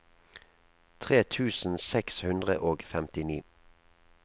tre tusen seks hundre og femtini